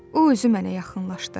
O özü mənə yaxınlaşdı.